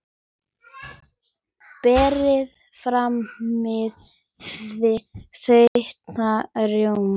Berið fram með þeyttum rjóma.